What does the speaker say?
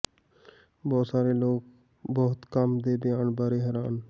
ਬਹੁਤ ਸਾਰੇ ਲੋਕ ਬਹੁਤ ਕੰਮ ਦੇ ਬਿਆਨ ਬਾਰੇ ਹੈਰਾਨ